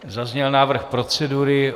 Zazněl návrh procedury.